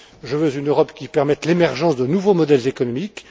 Je veux une Europe qui permette l'émergence de nouveaux modèles économiques.